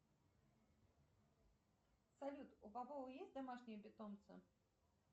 салют у попова есть домашние питомцы